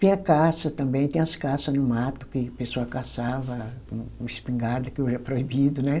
Tinha caça também, tinha as caças no mato, que o pessoal caçava com espingarda, que hoje é proibido, né?